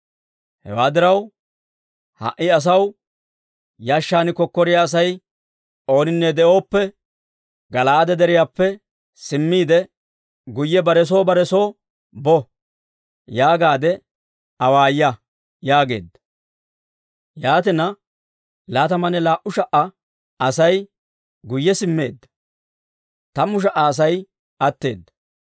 Hewaa diraw, ha"i asaw, ‹Yashshan kokkoriyaa Asay ooninne de'oppe, Gala'aade Deriyaappe simmiide, guyye bare soo bare soo bo› yaagaadde awaaya» yaageedda. Yaatina, laatamanne laa"u sha"a Asay guyye simmeedda; tammu sha"a Asay atteedda.